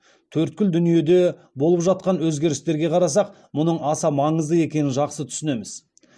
төрткүл дүниеде болып жатқан өзгерістерге қарасақ мұның аса маңызды екенін жақсы түсінеміз